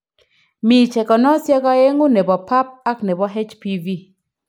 Mi chekenosiek oengu nebo Pap ak nebo HPV